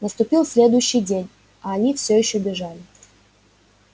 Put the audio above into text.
наступил следующий день а они все ещё бежали